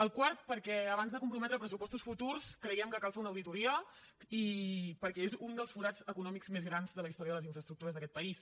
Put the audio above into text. al quart perquè abans de comprometre pressupostos futurs creiem que cal fer una auditoria i perquè és un dels forats econòmics més grans de la història de les infraestructures d’aquest país